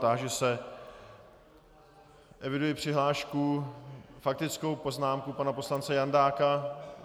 Táži se - eviduji přihlášku, faktickou poznámku pana poslance Jandáka.